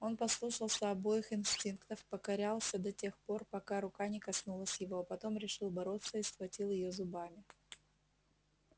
он послушался обоих инстинктов покорялся до тех нор пока рука не коснулась его а потом решил бороться и схватил её зубами